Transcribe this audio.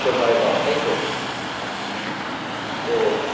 উঠতে ভয় পাও তাইতো? তো